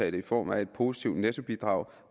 i form af et positivt nettobidrag